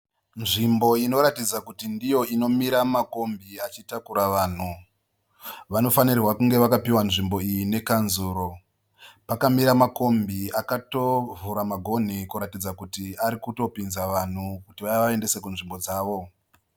Nzvimbo inoratidza kuti ndiyo inomira makombi achitakura vanhu. Vanofanirwa kunge vakapiwa nzvimbo iyi nekanzuro. Pakamira makombi akatovhura magonhi kuratidza kuti ari kupinza vanhu kuti vavaendese kunzvimbo dzavo.